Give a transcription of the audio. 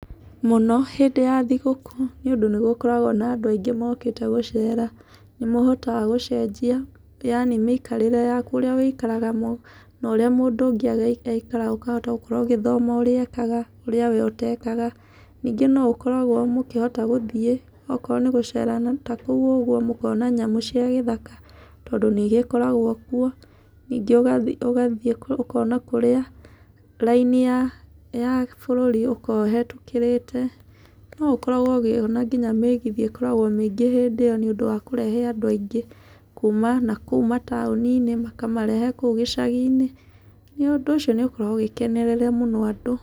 Mũno hĩndĩ ya thigũkũ nĩũndũ nĩgũkoragwo na andũ aingĩ mokĩte gũcera. Nĩmahotaga gũcenjia yani mĩikarĩre ya kũríĩ ũikaraga no ũrĩa mũndũ ũngĩ aikaraga ũkahota gũkorwo ũgĩthoma ũrĩa ekaga, ũrĩa wee ũtekaga. Ningĩ no ũkoragwo mũkĩhotaga gũthiĩ okorwo nĩgũcera na kũu ũguo mũkona nyamũ cia gĩthaka tondũ nĩigĩkoragwo kuo, ningĩ ũgathiĩ ũkona kũrĩa raini ya bũrũri ũkoragwo ũhetũkĩrĩte. No ũkoragwo ũkĩona ngina mĩgithi ĩkoragwo mĩingĩ hĩndĩ ĩo nĩũndũ wa kũrehe andũ aingĩ kuma na kuma na kũu taũni-nĩ makamarehe kũu gĩcaginĩ. Ũndũ ũcio nĩ ũkoragwo ũgĩkenerera mũno andũ.